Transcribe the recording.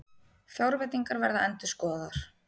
Fjárveitingar verða endurskoðaðar